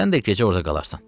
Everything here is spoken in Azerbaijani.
Sən də gecə orda qalarsan.